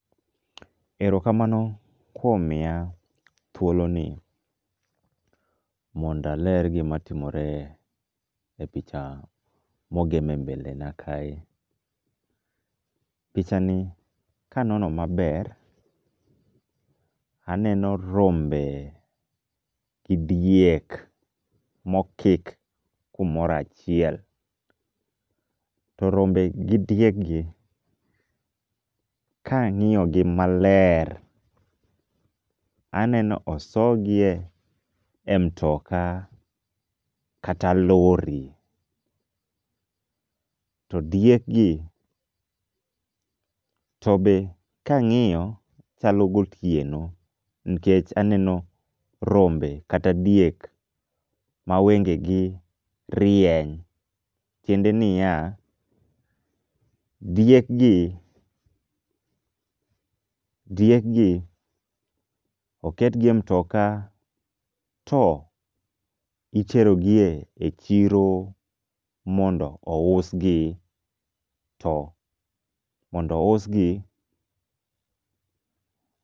Erokamano kuom miya thuoloni mondaler gimatimore e picha mogeme mbelena kae. Pichani kanono maber, aneno rombe gi diek mokik kumoro achiel. To rombe gi diekgi kang'iogi maler aneno osogie e mtoka kata lori .To diekgi tobe kang'iyo chalo gotieno nikech aneno rombe kata diek mawengegi rieny, tiende niya, diekgi diekgi oketgi e mtoka to iterogie chiro mondo ousgi to mondo ousgi.